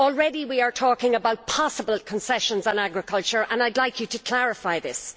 Already we are talking about possible concessions on agriculture, and I would like you to clarify this.